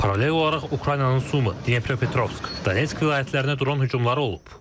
Paralel olaraq Ukraynanın Sumi, Dnepropetrovsk, Donetsk vilayətlərinə dron hücumları olub.